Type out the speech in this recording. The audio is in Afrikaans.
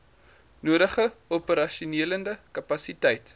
nodige operasionele kapasiteit